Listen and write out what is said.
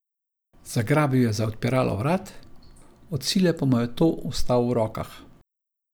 Zagrabil je za odpiralo vrat, od sile pa mu je to ostal v rokah.